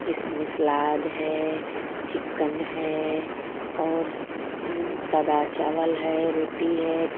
इसमें सलाद है चिकन है और अं सादा चावल है रोटी है.